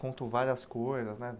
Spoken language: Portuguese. Conta várias coisas, né?